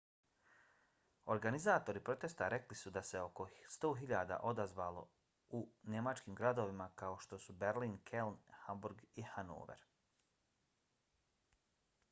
organizatori protesta rekli su da se oko 100.000 odazvalo u njemačkim gradovima kao što su berlin keln hamburg i hanover